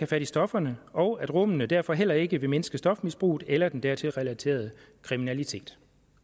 fat i stofferne og at rummene derfor heller ikke vil mindske stofmisbruget eller den dertil relaterede kriminalitet